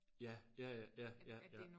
Ja ja ja ja ja ja